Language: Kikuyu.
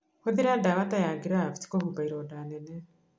Hũthĩra ndawa ta ya graft kũhumba ironda nene